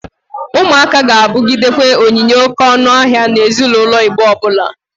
Ụmụaka ga-abụgidekwa onyinye oke ọnụ ahịa na ezinaulo Igbo ọbụla.